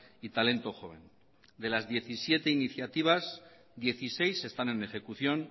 y talento joven de las diecisiete iniciativas dieciséis están en ejecución